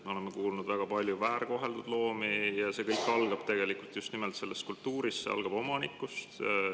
Me oleme kuulnud väga paljudest väärkoheldud loomadest ja selles kultuuris kõik algab tegelikult just nimelt omanikust.